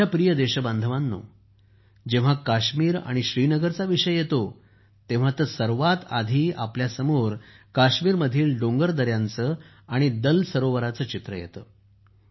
माझ्या प्रिय देशबांधवांनो जेव्हा काश्मीर किंवा श्रीनगरचा विषय येतो तेव्हा तर सर्वात आधी आपल्यासमोर काश्मीरमधील डोंगर दऱ्यांचे आणि दल सरोवराचे चित्र येते